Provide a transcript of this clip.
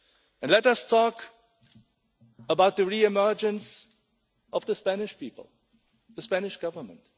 And let us talk about the re-emergence of the Spanish people and the Spanish Government.